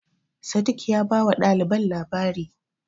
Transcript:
Sadiq ya bawa ɗaliban labari.